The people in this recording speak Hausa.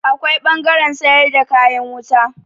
Akwai ɓangaren sayar da kayan wuta.